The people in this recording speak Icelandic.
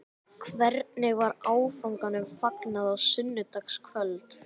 Hvernig var áfanganum fagnað á sunnudagskvöld?